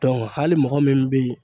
Dɔnku hali mɔgɔ min be yen